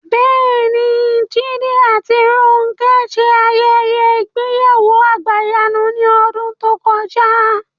Bẹ́ẹ̀ni, Jídé àti Rónkẹ́ ṣe ayẹyẹ ìgbéyàwó àgbàyanu ní ọdún tó kọjá